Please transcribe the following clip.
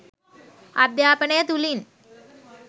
අධ්‍යාපනය තුළින්